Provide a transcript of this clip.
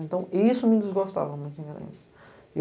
Então, isso me desgostava muito, em Garanhuns